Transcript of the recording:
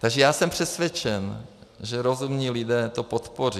Takže já jsem přesvědčen, že rozumní lidé to podpoří.